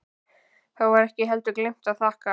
Þá var ekki heldur gleymt að þakka.